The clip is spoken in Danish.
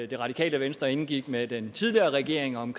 det radikale venstre indgik med den tidligere regering om